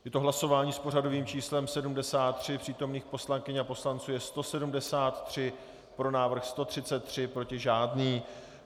Je to hlasování s pořadovým číslem 73, přítomných poslankyň a poslanců je 173, pro návrh 133, proti žádný.